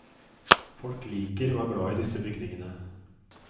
Folk liker og er glad i disse bygningene.